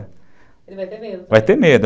Ele vai ter medo. Vai ter medo.